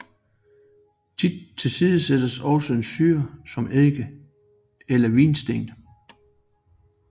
Tit tilsættes også en syre som eddike eller vinsten